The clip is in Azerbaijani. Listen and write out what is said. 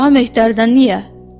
Daha Mehtəridən niyə?